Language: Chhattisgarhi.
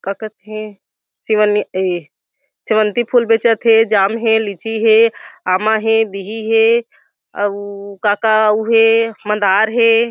का कथे शिवन्य ए सिवन्ती फूल बेचत हे जाम हे लीची हे आमा हे बिहि हे अउ का का अउ हे मदार हे ।